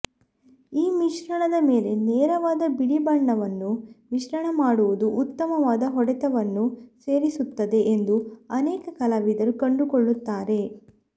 ಈ ಮಿಶ್ರಣದ ಮೇಲೆ ನೇರವಾದ ಬಿಳಿ ಬಣ್ಣವನ್ನು ಮಿಶ್ರಣ ಮಾಡುವುದು ಉತ್ತಮವಾದ ಹೊಡೆತವನ್ನು ಸೇರಿಸುತ್ತದೆ ಎಂದು ಅನೇಕ ಕಲಾವಿದರು ಕಂಡುಕೊಳ್ಳುತ್ತಾರೆ